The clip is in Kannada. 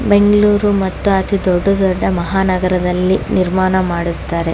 ಬೆಂಗಳೂರು ಮತ್ತು ಅತಿ ದೊಡ್ಡ ದೊಡ್ಡ ಮಹಾನಗರದಲ್ಲಿ ನಿರ್ಮಾಣ ಮಾಡುತ್ತಾರೆ.